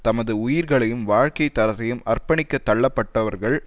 தமது உயிர்களையும் வாழ்க்கை தரத்தையும் அர்ப்பணிக்கத் தள்ளப்பட்டவர்கள்